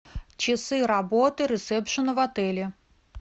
часы работы ресепшена в отеле